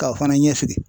K'aw fana ɲɛsi